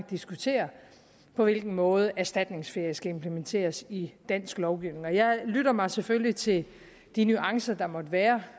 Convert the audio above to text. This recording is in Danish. diskuterer på hvilken måde erstatningsferie skal implementeres i dansk lovgivning jeg lytter mig selvfølgelig til de nuancer der måtte være